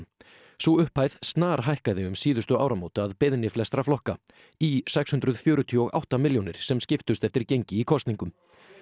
sú upphæð snarhækkaði um síðustu áramót að beiðni flestra flokka í sex hundruð fjörutíu og átta milljónir sem skiptust eftir gengi í kosningum